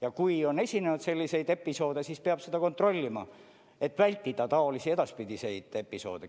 Ja kui on esinenud selliseid episoode, siis peab seda kontrollima, et vältida edaspidi taolisi episoode.